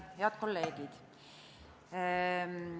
Head kolleegid!